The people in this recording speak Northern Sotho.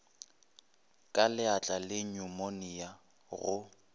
ka leatla le nyumonia go